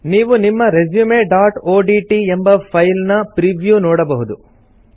ನೀವು ನಿಮ್ಮ resumeಒಡಿಟಿ ಎಂಬ ಫೈಲ್ ನ ಪ್ರೀವ್ಯೂ ನೋಡಬಹುದು